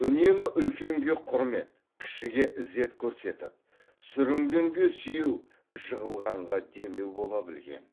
үнемі үлкенге құрмет кішіге ізет көрсетіп сүрінгенге сүйеу жығылғанға демеу бола білген